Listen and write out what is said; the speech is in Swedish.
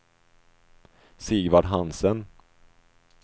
Sigvard Hansen